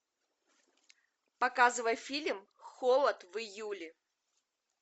показывай фильм холод в июле